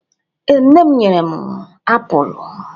ee, nne m nyere m apulu